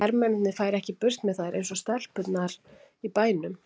Hermennirnir færu ekki burt með þær eins og stelpurnar í bænum.